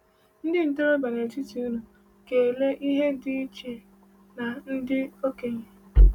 Ndị ntorobịa n’etiti unu ga-ele ihe dị iche na ndị okenye.